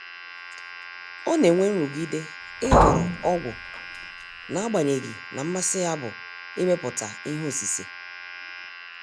Ọ na-enwe nrụgide ịhọrọ ọgwụ, n'agbanyeghi na mmasi ya bụ imepụta ihe osise.